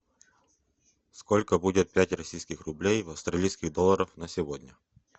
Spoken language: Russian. сколько будет пять российских рублей в австралийских долларах на сегодня